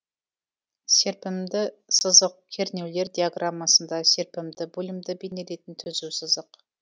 серпімді сызық кернеулер диаграммасында серпімді бөлімді бейнелейтін түзу сызық